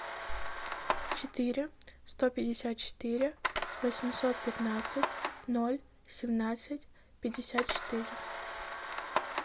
четыре сто пятьдесят четыре восемьсот пятнадцать ноль семнадцать пятьдесят четыре